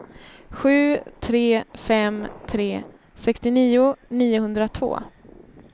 sju tre fem tre sextionio niohundratvå